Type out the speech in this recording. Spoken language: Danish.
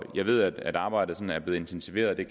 jeg ved at arbejdet er blevet intensiveret og det